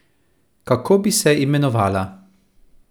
Kako bi se imenovala?